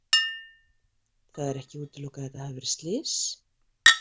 Það er ekki útilokað að þetta hafi verið slys?